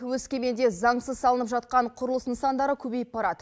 өскеменде заңсыз салынып жатқан құрылыс нысандары көбейіп барады